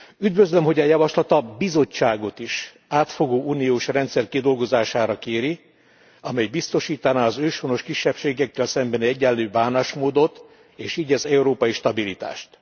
Üdvözlöm, hogy a javaslat a Bizottságot is átfogó uniós rendszer kidolgozására kéri, amely biztosítaná az őshonos kisebbségekkel szembeni egyenlő bánásmódot és így az európai stabilitást.